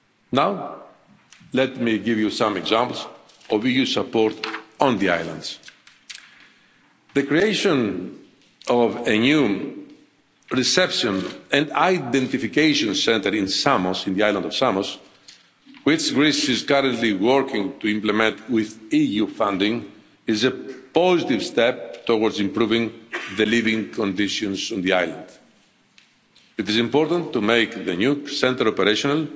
Now, let me give you some examples of EU support on the islands. The creation of a new reception and identification centre on the island of Samos, which Greece is currently working to implement with EU funding, is a positive step towards improving the living conditions on the island. It is important to make the new centre operational